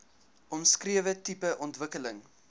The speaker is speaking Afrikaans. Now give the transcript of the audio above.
omskrewe tipe ontwikkeling